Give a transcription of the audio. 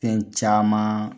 Fɛn caman